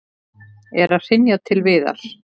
Er að hrynja til viðar.